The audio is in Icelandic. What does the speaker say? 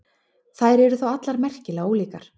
Þær eru þó allar merkilega ólíkar.